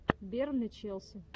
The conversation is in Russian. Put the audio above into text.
бернли челси